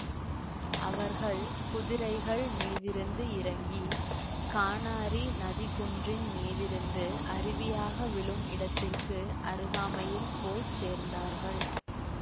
அவர்கள் குதிரைகள் மீதிருந்து இறங்கி கானாரி நதி குன்றின் மீதிருந்து அருவியாக விழும் இடத்திற்க்கு அருகாமையில் போய் சேர்ந்தார்கள்